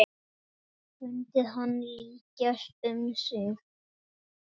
Fundið hann lykjast um sig.